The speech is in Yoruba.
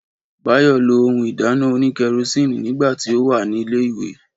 Báyọ̀ lo ohun ìdáná òní kẹrosíìnì nígbà tí ó wà ní ilẹ̀ ìwé